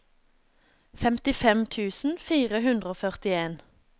femtifem tusen fire hundre og førtien